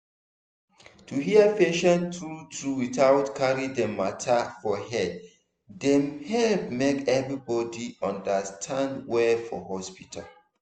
to hear patient true-true without carry dem matter for head dey help make everybody understand well for hospital.